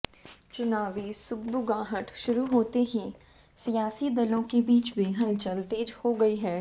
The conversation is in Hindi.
चुनावी सुगबुगाहट शुरू होते ही सियासी दलों के बीच भी हलचल तेज हो गई है